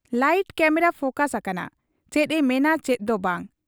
Light camera focus ᱟᱠᱟᱱᱟ ᱾ ᱪᱮᱫ ᱮ ᱢᱮᱱᱟ ᱪᱮᱫ ᱫᱚ ᱵᱟᱝ ?